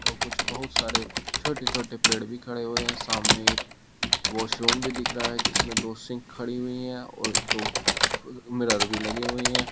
और कुछ बहुत सारे छोटे छोटे पेड़ भी खड़े हुए हैं सामने एक वॉशरूम भी दिख रहा हैं जिसमें दो सिंक खड़ी हुई हैं और दो मिरर भी लगे हुए है।